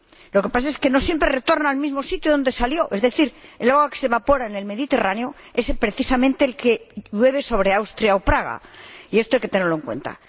Lo que pasa es que no siempre retorna al mismo sitio de donde salió, es decir, el agua que se evapora en el Mediterráneo es precisamente la que llueve sobre Austria o Praga, y esto hay que tenerlo en cuenta.